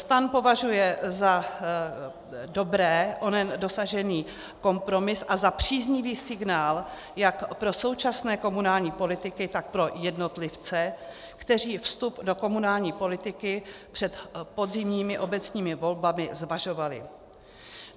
STAN považuje za dobrý onen dosažený kompromis a za příznivý signál jak pro současné komunální politiky, tak pro jednotlivce, kteří vstup do komunální politiky před podzimními obecními volbami zvažovali.